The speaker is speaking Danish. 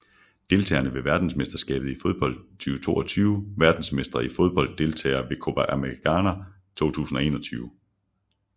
Deltagere ved verdensmesterskabet i fodbold 2022 Verdensmestre i fodbold Deltagere ved Copa América 2021